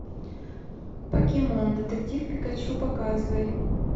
покемон детектив пикачу показывай